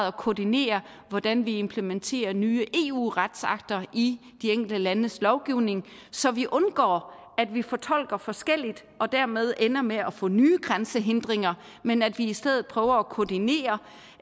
at koordinere hvordan vi implementerer nye eu retsakter i de enkelte landes lovgivning så vi undgår at vi fortolker forskelligt og dermed ender med at få nye grænsehindringer men at vi i stedet prøver at koordinere